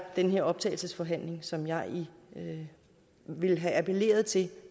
den her optagelsesforhandling som jeg ville have appelleret til